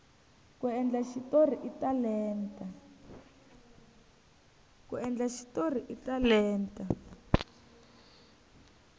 ku endla xitori i talenta